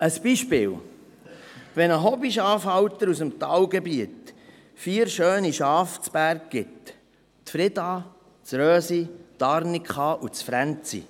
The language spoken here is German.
Ein Beispiel: Ein Hobbyschafhalter aus dem Talgebiet gibt vier schöne Schafe zu Berg: Frieda, Rösi, Arnika und Fränzi.